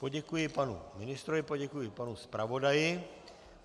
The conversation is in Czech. Poděkuji panu ministrovi, poděkuji panu zpravodaji.